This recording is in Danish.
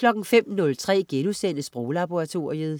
05.03 Sproglaboratoriet*